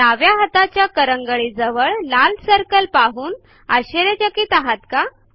डाव्या हाताच्या करंगळी जवळ लाल सर्कल पाहून आशर्यचकित आहात का